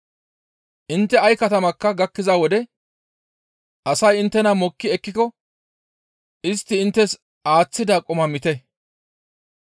«Intte ay katamakka gakkiza wode asay inttena mokki ekkiko istti inttes aaththida qumaa miite.